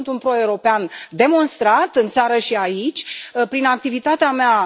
Eu sunt un pro european demonstrat în țară și aici, prin activitatea mea.